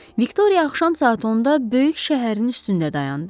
Viktoriya axşam saat 10-da böyük şəhərin üstündə dayandı.